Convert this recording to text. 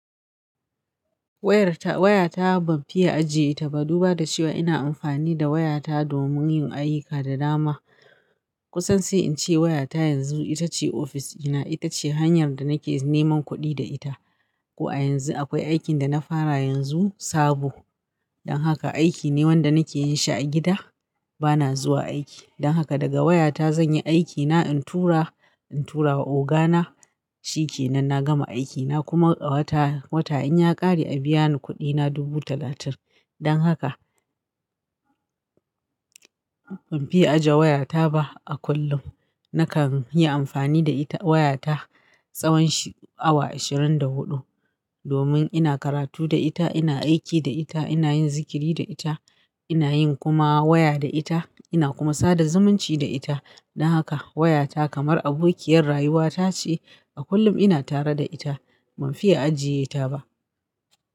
Wayarta, wayata ban fiye ajiye ta ba. Duba da cewa ina amfani da wayata domin yin ayyuka da dama. Kusan sai in ce wayata yanzu ita ce ofis dina. Ita ce hanyar da nake neman kuɗi da ita. Ko a yanzu akwai aikin da na fara yanzu sabo. Don haka aiki ne wanda nake yin shi a gida. Bana zuwa aiki. Don haka daga wayata zan yi aikina in tura, in tura wa ogana. Shi ke nan na gama aikina kuma a wata, wata in ya ƙare a biya ni kuɗina dubu talatin. Don haka ban fiye aje wayata ba. A kullum nakan yi amfani da ita wayata tsawon awa ashirin da huɗu domin ina karatu da ita, ina aiki da ita, ina yin zikiri da ita, ina yin kuma waya da ita, ina kuma sada zumunci da ita. Don haka wayata kamar abokiyar rayuwata ce. A kullum ina tare da ita. Ban fiye ajiye ta ba.